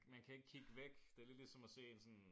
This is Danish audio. Man kan ikke kigge væk det lidt ligesom at se sådan